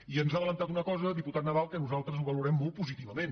i ens ha avançat una cosa diputat nadal que nosaltres valorem molt positivament